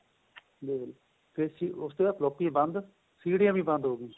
ਦੇਖਲੋ ਫ਼ੇਰ ਉਸ ਤੇ ਬਾਅਦ ਫ੍ਲੋਪੀਆਂ ਬੰਦ ਸੀਡੀਆਂ ਵੀ ਬੰਦ ਹੋਗੀਆਂ